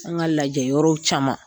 An ka lajɛ yɔrɔw caman